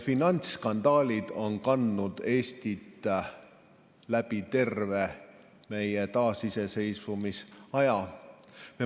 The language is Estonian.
Finantsskandaalid on kandnud Eestit läbi terve meie taasiseseisvumise järgse aja.